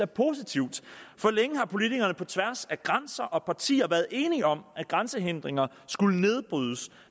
positivt længe har politikere på tværs af grænser og partier været enige om at grænsehindringer skulle nedbrydes